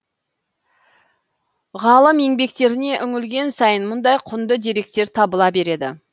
ғалым еңбектеріне үңілген сайын мұндай құнды деректер табыла береді